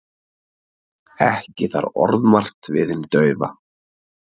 Ekki þarf orðmargt við hinn daufa.